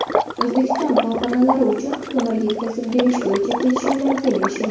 O‘zbekiston korxonalari uchun ko‘mir yetkazib berish bo‘yicha kelishuvlarga erishildi.